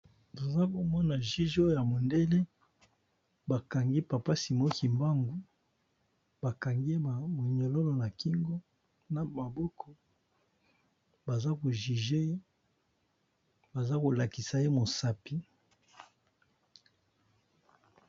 Toza komona juge oyo ya mondele ba kangi papa simo kimbangu ba kangi ye ba moniololo na kingo na maboko baza ko juge baza kolakisa ye mosapi.